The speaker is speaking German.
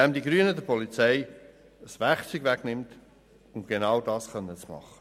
Dies, weil die Grünen der Polizei das Werkzeug wegnehmen, um genau das tun zu können.